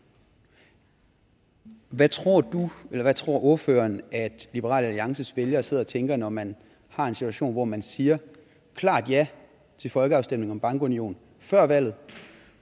hvad tror tror ordføreren at liberal alliances vælgere sidder og tænker når man har en situation hvor man siger klart ja til folkeafstemning om bankunion før valget